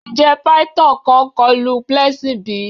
Njẹ phyton kan kọlu Blessing bi?